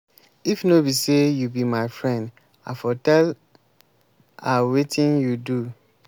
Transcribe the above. if no be say you be my friend i for tell a wetin you do.